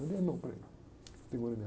Eu dei a mão para ele. Ele pegou na minha